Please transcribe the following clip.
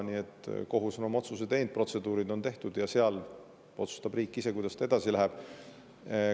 Nii et kohus on oma otsuse teinud, protseduurid on tehtud ja seal otsustab riik ise, kuidas ta edasi läheb.